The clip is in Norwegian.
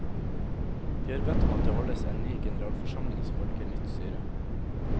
Vi har bedt om at det holdes en ny generalforsamling som velger nytt styre.